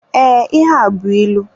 Ee, ihe a bụ ịlụ.